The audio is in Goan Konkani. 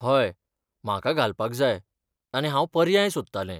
हय, म्हाका घालपाक जाय आनी हांव पर्याय सोदतालें.